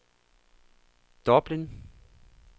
Dublin